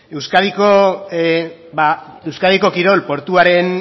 euskadiko kirol portuaren